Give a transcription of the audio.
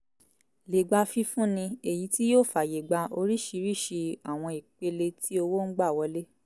lè gbà fifúnni èyí tí yóò fàyègba oríṣiríṣi àwọn ìpele tí owo ń gbà wọlé